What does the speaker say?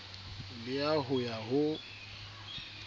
le ya ho ya ho